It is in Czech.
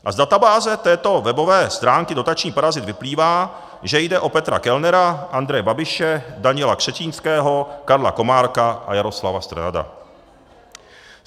A z databáze této webové stránky Dotační parazit vyplývá, že jde o Petra Kellnera, Andreje Babiše, Daniela Křetínského, Karla Komárka a Jaroslava Strnada.